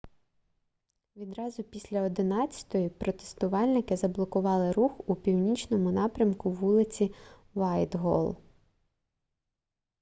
відразу після 11:00 протестувальники заблокували рух у північному напрямку вулиці вайтголл